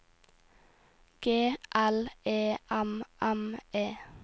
G L E M M E